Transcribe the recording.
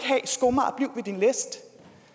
og din læst